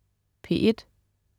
P1: